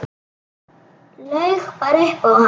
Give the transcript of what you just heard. Laug bara upp á hann.